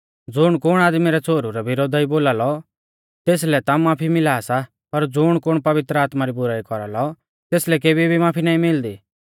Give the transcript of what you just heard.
ज़ुण कुण आदमी रै छ़ोहरु रै विरोधा ई बोलालौ तेसलै ता माफी मिला सा पर ज़ुण कुण पवित्र आत्मा री बुराई कौरालौ तेसलै केबी भी माफी नाईं मिलदी